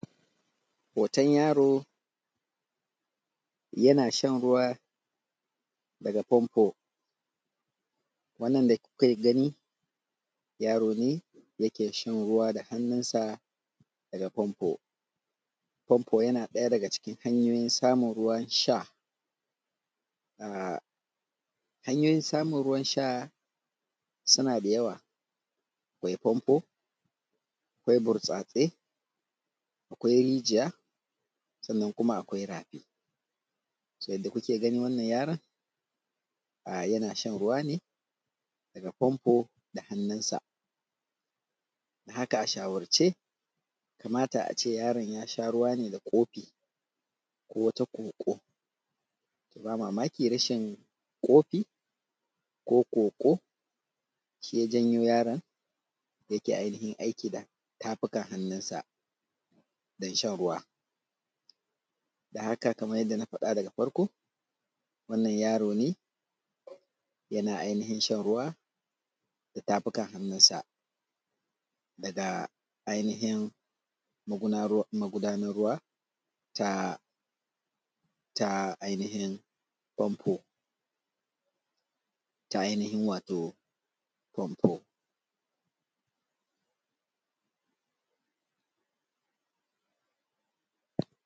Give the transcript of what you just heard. Hoton yaro yana shan ruwa a fanfo wannan da kuka gani yaro ne da yake shan ruwa da hannunsa na famfo. Famfo yana ɗaya daga cikin hanyoyin samun ruwan sha. Hanyoyin samun ruwan sha suna da yawa. Akwai famfo akwai burtsatse akwai rijiya sannan kuma akwai rafi, yadda kuke ganin wannan yaron yana sha ruwa ne a fanfo da hannunsa haka a shawarce kamata a ce yaron ya sha ne da kofi ko wata ƙwoƙwo ba mamaki rashin kofi ko kwokwo shi ya janyo yaron ya yi aiki da tafukan hannunsa Don haka kamar yadda na faɗa daga farko wannan yaron yana zaune yana aikin shan ruwa da tafukan hannunsa daga ainihin magudana ruwan ta ainihin famfo wato ta ainihin fanfo.